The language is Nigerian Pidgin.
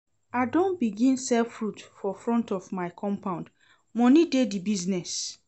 I don begin sell fruit for front of my compound, moni dey di business.